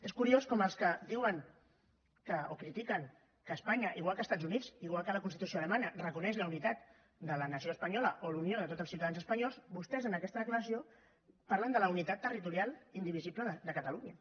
és curiós com els que diuen o critiquen que espanya igual que els estat units igual que la constitució alemanya reconeix la unitat de la nació espanyola o la unió de tots els ciutadans espanyols vostès en aquesta declaració parlen de la unitat territorial indivisible de catalunya